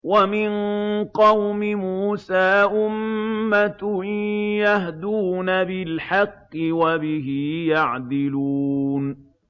وَمِن قَوْمِ مُوسَىٰ أُمَّةٌ يَهْدُونَ بِالْحَقِّ وَبِهِ يَعْدِلُونَ